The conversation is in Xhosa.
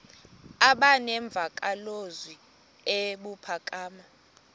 aba nemvakalozwi ebuphakama